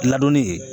Ladonni